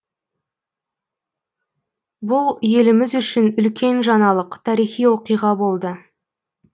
бұл еліміз үшін үлкен жаңалық тарихи оқиға болды